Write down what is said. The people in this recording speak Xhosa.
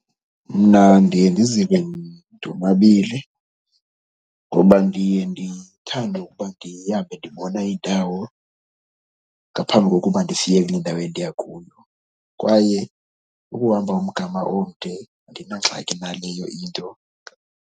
Mna ndiye ndizive ndonwabile ngoba ndiye ndithande ukuba ndihambe ndibona iindawo ngaphambi kokuba ndifike kule ndawo endiya kuyo kwaye ukuhamba umgama omde andinangxaki naleyo into.